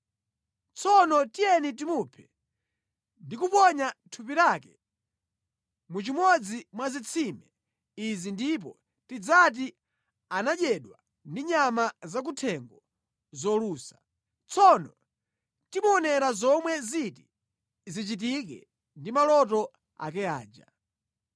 Tsono tiyeni timuphe ndi kuponya thupi lake mu chimodzi mwa zitsime izi ndipo tidzati anadyedwa ndi nyama zakuthengo zolusa. Tsono timuonera zomwe ziti zichitike ndi maloto ake aja.”